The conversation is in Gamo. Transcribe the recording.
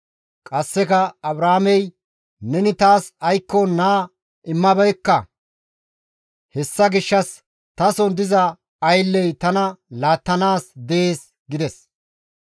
Qasseka Abraamey, «Neni taas aykko naa immabeekka; hessa gishshas tason diza aylley tana laattanaas dees» gides.